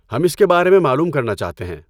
ہم اس کے بارے میں معلوم کرنا چاہتے ہیں۔